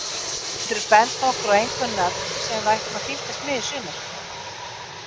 Geturðu bent okkur á einhver nöfn sem við ættum að fylgjast með í sumar?